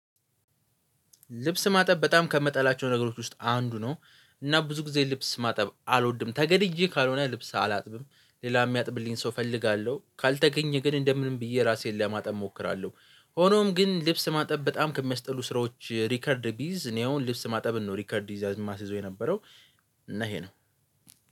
ልብስ ማጠብ በጣም ከምጣላቸው ነገሮች ውስጥ አንዱ ነው። እና ብዙ ጊዜ ልብስ ማጠብ አልወድም ተገድጄ ካልሆነ ልብስ አላጥብም። ሌላ የሚያጥብልኝ ሰው እፈልጋለሁ። ካልተገኘ ግን እንደምንም ብዬ ራሴን ለማጠብ እሞክራለሁ። ሆኖም ግን ልብስ ማጠብ በጣም ከሚያስጠሉ ስራዎች ሪከርድ ብይዝ እኔ አሁን ልብስ ማጠብ ነው ሪከርድ ይዛ የማስይዘው የነበረው እና ይሄ ነው።